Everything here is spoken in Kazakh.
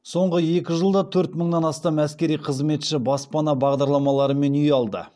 соңғы екі жылда төрт мыңнан астам әскери қызметші баспана бағдарламаларымен үй алды